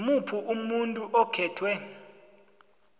ngimuphi umuntu okhethwe